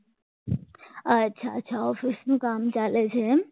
ઓફિસનું કામ ચાલે છે એમ